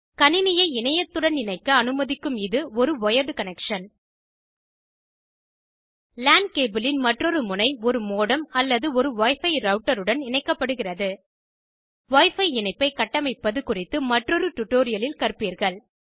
கணினியை இணையத்துடன் இணைக்க அணுமதிக்கும் இது ஒரு ஒயர்டு கனெக்ஷன் லான் கேபிளின் மற்றொரு முனை ஒரு மோடம் அல்லது ஒரு wi பி ரெளட்டருடன் இணைக்கப்படுகிறது wi பி இணைப்பை கட்டமைப்பது குறித்து மற்றொரு டுடோரியலில் கற்பீர்கள்